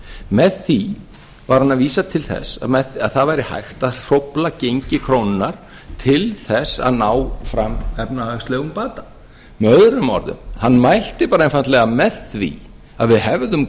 með því var hann að vísa til þess að það væri hægt að hrófla gengi krónunnar til þess að ná fram efnahagslegum bata með öðrum orðum hann mælti bara einfaldlega með því að við hefðum